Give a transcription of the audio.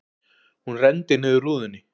Hún renndi niður rúðunni.